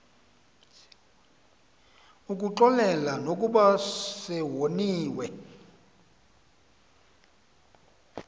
ukuxolela nokuba sewoniwe